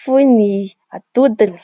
foy ny atodiny.